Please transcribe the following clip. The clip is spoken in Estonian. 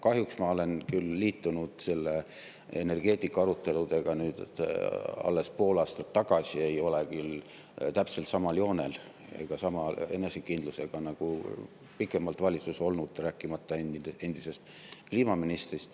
Kahjuks ma liitusin energeetikaaruteludega alles pool aastat tagasi ja ei ole päris täpselt samal joonel ega samasuguse enesekindlusega nagu pikemalt valitsuses olnud, rääkimata endisest kliimaministrist.